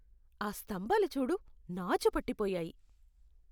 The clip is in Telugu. ఆ స్తంభాలు చూడు. నాచు పట్టిపోయాయి.